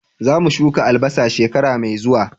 Za mu shuka albasa shekara mai zuwa